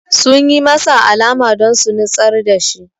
Sun yi masa alama don su nitsar da shi